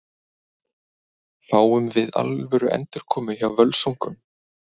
Fáum við alvöru endurkomu hjá Völsungum?